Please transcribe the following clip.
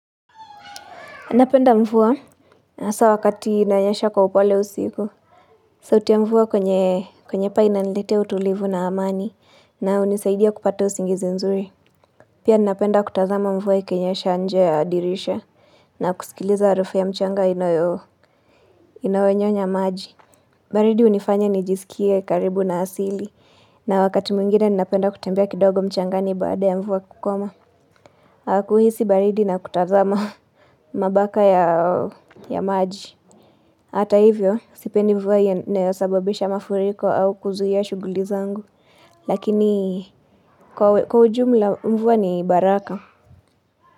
Napenda mvua hasa wakati inanyesha kwa upole usiku. Sauti mvua kwenye kwenye paa inaniletea utulivu na amani na hunisaidia kupata usingizi nzuri. Pia ninapenda kutazama mvua ikenyesha nje ya dirisha na kusikiliza harufu ya mchanga inayonyonya maji. Baridi hunifanya nijisikia karibu na asili na wakati mwingine ninapenda kutembea kidogo mchangani baada ya mvua kukoma. Kuhisi baridi na kutazama mabaka ya maji. Hata hivyo, sipendi mvua ya inayo sababisha mafuriko au kuzua shuguli zangu. Lakini, kwa ujumla mvua ni baraka.